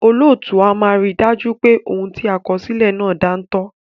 Olóòtú a máa rí dájú pé òun ti a kọ sílè náà dántọ́